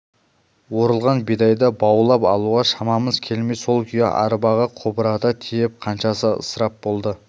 орылған бидайды баулап алуға шамамыз келмей сол күйі арбаға қобырата тиеп қаншасы ысырап болды